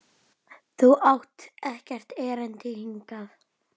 Þú átt ekkert erindi hingað.